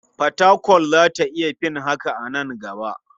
Fatakwal za ta iya fin haka a nan gaba.